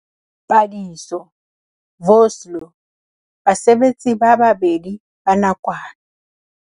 Padiso, Vosloo, basebetsi ba 2 ba nakwana.